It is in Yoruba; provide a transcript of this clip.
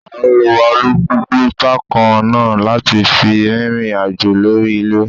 À ń lo alùpùpù bákan náà láti fi rìnrìn àjò lórí ilẹ̀